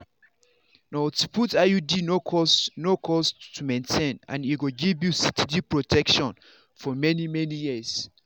to put iud no cost no cost to maintain and e go give you steady protection for many-many years.